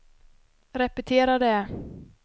repetera det